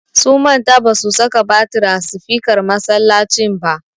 Sun manta ba su saka batir a sifikar masallacin ba.